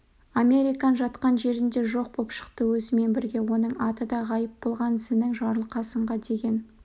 американ жатқан жерінде жоқ боп шықты өзімен бірге оның аты да ғайып болған зінің жарылқасынға деген